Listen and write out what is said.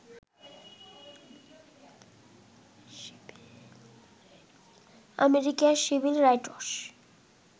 আমেরিকার civil rights